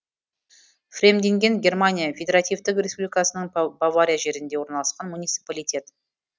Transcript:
фремдинген германия федеративтік республикасының бавария жерінде орналасқан муниципалитет